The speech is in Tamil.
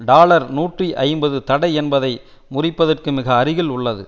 டாலர் நூற்றி ஐம்பது தடை என்பதை முறிப்பதற்கு மிக அருகில் உள்ளது